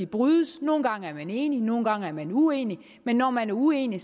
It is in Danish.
brydes nogle gange er man enig nogle gange er man uenig men når man er uenig